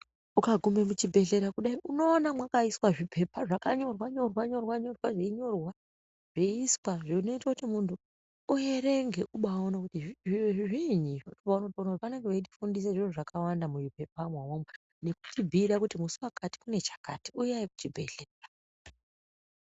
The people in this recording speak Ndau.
Ukagume muchibhedhlera kudai unoone mwakaiswe zvipepa zvakanyorwe nyorwa zveeiswe zvinoite kuti munhu uverenge ubaiwone kuti zviro izvo zviini ndopaunoone kuti vanenge veyitofundise zvakawanda mupepa mwona imomo nekuti bhuyira kuti musi wakati kune chakati uyayi kuchibhedhlera.